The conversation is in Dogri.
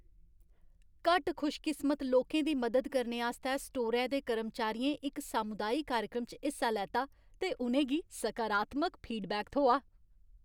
घट्ट खुशकिस्मत लोकें दी मदद करने आस्तै स्टोरै दे कर्मचारियें इक सामुदाई कार्यक्रम च हिस्सा लैता ते उ'नें गी सकारात्मक फीडबैक थ्होआ।